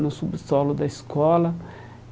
No subsolo da escola.